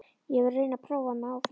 Ég er að reyna að prófa mig áfram.